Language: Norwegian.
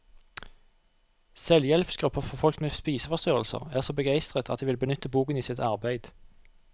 Selvhjelpsgrupper for folk med spiseforstyrrelser er så begeistret at de vil benytte boken i sitt arbeid.